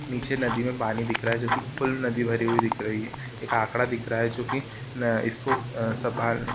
नीचे नदी मे पानी दिख रहा है जोकि फुल्ल नदी भरी हुई दिख रही है एक आकडा दिख रहा है जोकि इसको --